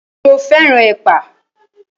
Ṣo fẹ́ràn ẹ̀pà?